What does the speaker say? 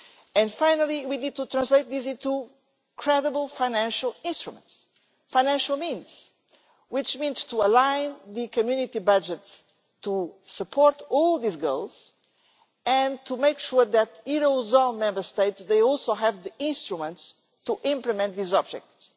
And finally, we need to translate this into credible financial instruments, financial means, which means to align the Community budget to support all these goals, and to make sure that eurozone Member States also have the instruments to implement these objectives.